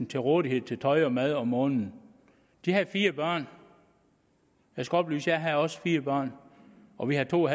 til rådighed til tøj og mad om måneden de havde fire børn jeg skal oplyse at jeg også havde fire børn og vi havde to